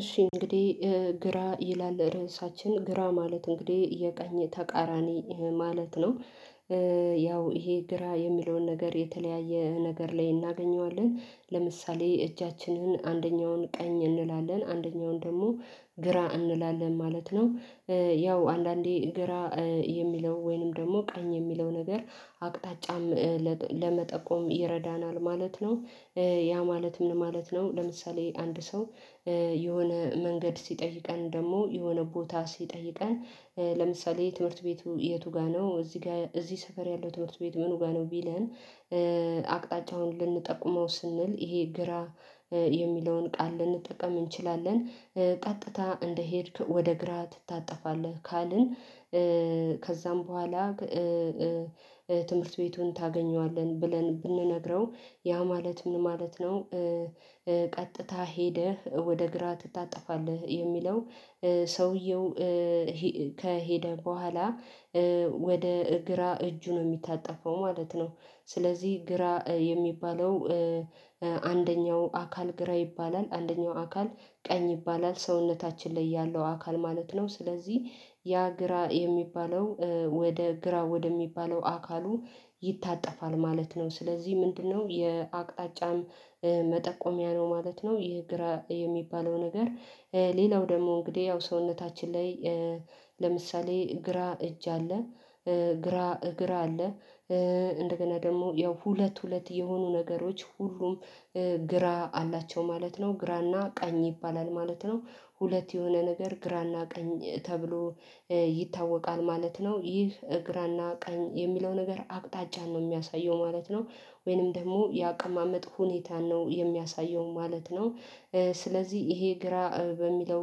እሺ እንግዲህ ግራ ይላል ርዕሳችን። ግራ ማለት እንግዲህ የቀኝ ተቃራኒ ማለት ነው። ያው ይሄ ግራ የሚለውን ነገር የተለያየ ነገር ላይ እናገኘዋለን። ለምሳሌ እጃችንን አንደኛውን ቀኝ እንላለን አንደኛውን ደግሞ ግራ እንላለን ማለት ነው። ያው አንዳንዴ ግራ የሚለው ወይንም ደግሞ ቀኝ የሚለው ነገር አቅጣጫም ለመጠቆም ይረዳናል ማለት ነው። ያ ማለት ምን ማለት ነው ለምሳሌ አንድ ሰው የሆነ መንገድ ሲጠይቀን ደግሞ የሆነ ቦታ ሲጠይቀን ለምሳሌ ትምህርት ቤቱ የቱ ጋር ነው? እዚህ ጋር፣ እዚህ ሰፈር ያለው ትምህርት ቤት ምን ጋር ነው ቢለን አቅጣጫ አሁን ልንጠቁመው ስንል ይሄ ግራ የሚለውን ቃል ልንጠቀም እንችላለን። ቀጥታ እንደሄድክ ወደ ግራ ትታጠፋለህ ካልን ከዛም በኋላ ትምህርት ቤቱን ታገኘዋለን ብለን ብንነግረው? ያ ማለት ምን ማለት ነው? ቀጥታ ሄደህ ወደ ግራ ትታጠፋለህ፣ የሚለው ሰውየው ከሄደ በኋላ ወደ ግራ እጁ ነው የሚታጠፈው ማለት ነው። ስለዚህ ግራ የሚባለው አንደኛው አካል ግራ ይባላል፣ አንደኛው አካል ቀኝ ይባላል። ሰውነታችን ላይ ያለው አካል ማለት ነው። ስለዚህ ያ ግራ የሚባለው ወደ ግራ ወደሚባለው አካሉ ይታጠፋል ማለት ነው ስለዚህ ምንድነው የአቅጣጫም መጠቆሚያ ነው ማለት ነው። ይሄ ግራ የሚባለው ነገር ሌላው ደግሞ እንግዲህ ያው ሰውነታችን ላይ ለምሳሌ ግራ እጅ አለ፣ ግራ እግር አለ። እንደገና ደግሞ ያው ሁለት፣ ሁለት የሆኑ ነገሮች ሁሉም ግራ አላቸው ማለት ነው። ግራና ቀኝ ይባላል ማለት ነው። ሁለት የሆነ ነገር ግራና ቀኝ ተብሎ ይታወቃል ማለት ነው። ይህ እግራና ቀን የሚለው ነገር አቅጣጫን ነው የሚያሳየው ማለት ነው፣ ወይንም ደግሞ የአቀማመጥ ሁኔታ ነው የሚያሳየው ማለት ነው። ስለዚህ ይሄ ግራ በሚለው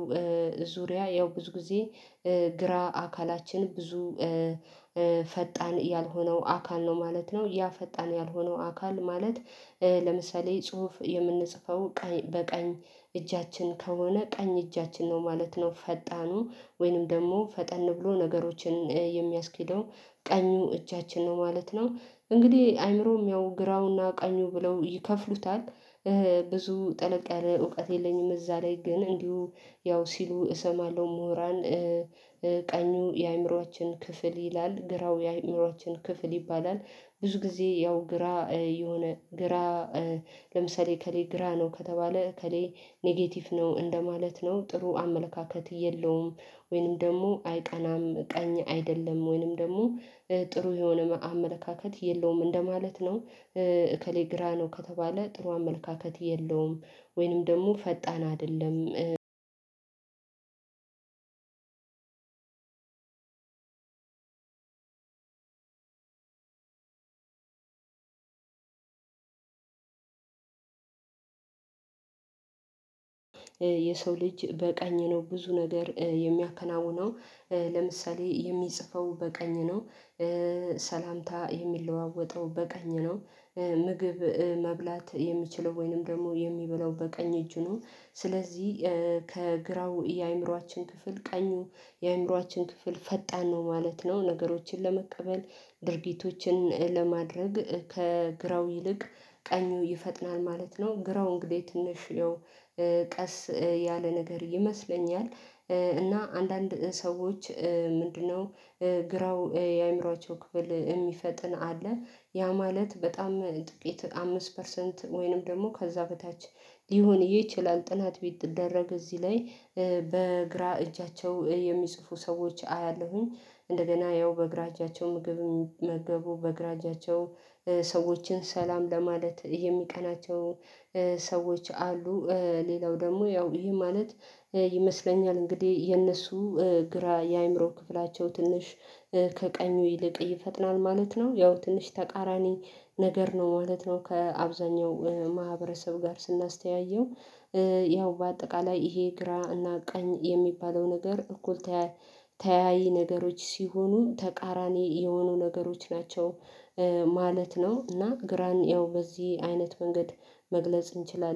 ዙሪያ ያው ብዙ ጊዜ ግራ አካላችን ብዙ ፈጣን ያልሆነው አካል ነው ማለት ነው። ያ ፈጣን ያልሆነው አካል ማለት ለምሳሌ ጽሁፍ የምንጽፈው ቀኝ፣ በቀኝ እጃችን ከሆነ ቀኝ እጃችን ነው ማለት ነው ፈጣኑ። ወይንም ደግሞ ፈጠን ብሎ ነገሮችን የሚያስኬደው ቀኙ እጃችን ነው ማለት ነው። እንግዲህ አይምሮም ያው ግራውና ቀኙ ብለው ይከፍሉታል። ብዙ ጥልቅ ያለ እውቀት የለኝም እዛ ላይ። ግን እንዲሁ ያው ሲሉ እሰማለሁ ምሁራን ቀኙ የአእምሮአችን ክፍል ይላል፣ ግራው የአእምሮአችን ክፍል ይባላል። ብዙ ጊዜ ያው ግራ የሆነ ግራ ለምሳሌ እከሌ ግራ ነው ከተባለ እከሌ ኔጌቲቭ ነው እንደማለት ነው። ጥሩ አመለካከት የለውም፣ ወይንም ደግሞ አይቀናም ቀኝ አይደለም፣ ወይንም ደግሞ ጥሩ የሆነ መአመለካከት የለውም እንደማለት ነው። እከሌ ግራ ነው ከተባለ ጥሩ አመለካከት የለውም ወይንም ደግሞ ፈጣን አይደለም የሰው ልጅ በቀኝ ነው ብዙ ነገር የሚያከናውነው። ለምሳሌ የሚጽፈው በቀኝ ነው ሰላምታ የሚለዋወጠው በቀኝ ነው። ምግብ መብላት የሚችለው ወይንም ደግሞ የሚበላው በቀኝ እጁንም። ስለዚህ ከግራው የአእምሮአችን ክፍል ቀኙ የአእምሮአችን ክፍል ፈጣን ነው ማለት ነው። ነገሮችን ለመቀበል ድርጊቶችን ለማድረግ ከግራው ይልቅ ቀኙ ይፈጥናል ማለት ነው ግራው እንግዲህ ትንሽ ያው ቀስ ያለ ነገር ይመስለኛል እና አንዳንድ ሰዎች ምንድነው? ግራው የአእምሮአቸው ክፍል የሚፈጥን አለ። ያ ማለት በጣም ጥቂት አምስት ፐርሰንት ወይንም ደግሞ ከዛ በታች ሊሆንዬ ይችላል ጥናት ቢደረግ እዚህ ላይ በግራ እጃቸው የሚጽፉ ሰዎች አያለሁኝ። እንደገና ያው በግራ እጃቸው ምግብ የሚመግበቡ በግራ እጃቸው ሰዎችን ሰላም ለማለት የሚቀናቸው፣ ሰዎች አሉ። ሌላው ደግሞ ያው ይሄ ማለት ይመስለኛል እንግዲህ የነሱ ግራ የአእምሮ ክፍላቸው ትንሽ ከቀኙ ይልቅ ይፈጥናል ማለት ነው። ያው ትንሽ ተቃራኒ ነገር ነው ማለት ነው ከአብዛኛው ማህበረሰብ ጋር ስናስተያየው። ያው በአጠቃላይ ይሄ ግራ ቀኝ የሚባለው ነገር እኩል ተያይ ነገሮች ሲሆኑ ተቃራኒ የሆኑ ነገሮች ናቸው። ማለት ነው እና ግራን ያው በዚህ አይነት መንገድ መግለጽ እንችላለን።